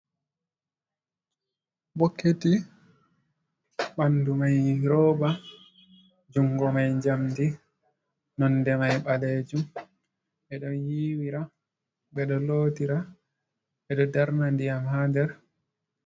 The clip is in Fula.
Bokketi ɓandu mai roba jungo mai jamdi nonde mai balejum ɓedo yiwira, ɓeɗo lotira, ɓeɗo darna ndiyam ha der.